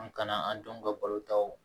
An kana an denw ka balo ta